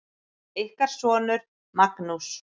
Ykkar sonur, Magnús.